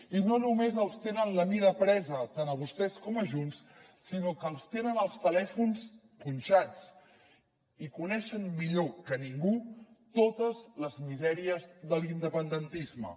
i no només els tenen la mida presa tant a vostès com a junts sinó que els tenen els telèfons punxats i coneixen millor que ningú totes les misèries de l’independentisme